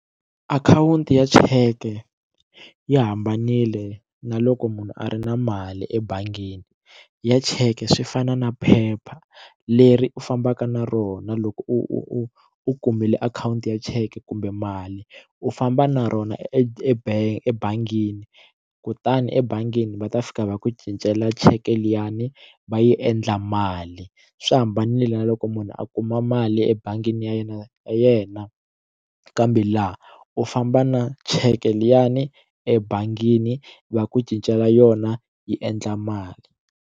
Akhawunti ya cheke ya hambanile na loko munhu a ri na mali ebangini ya cheke swi fana na phepha leri u fambaka na rona loko u u kumile akhawunti ya cheke kumbe mali u famba na rona ebangi ebangini kutani ebangini va ta fika va ku cincela cheke liyani va yi endla mali swi hambanile na loko munhu a kuma mali ebangini ya yena yena kambe laha u famba na cheke liyani ebangini va ku cincela yona yi endla mali.